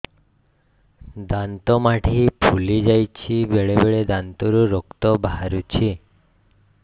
ଦାନ୍ତ ମାଢ଼ି ଫୁଲି ଯାଉଛି ବେଳେବେଳେ ଦାନ୍ତରୁ ରକ୍ତ ବାହାରୁଛି